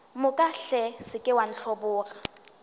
moka se ke wa ntlhoboga